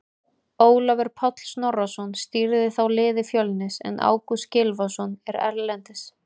Ólafur Páll Snorrason stýrði þá liði Fjölnis en Ágúst Gylfason er erlendis.